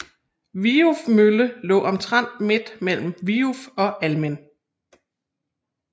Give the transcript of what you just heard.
Viuf Mølle lå omtrent midt mellem Viuf og Almind